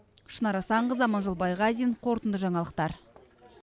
шынар асанқызы аманжол байғазин қорытынды жаңалықтар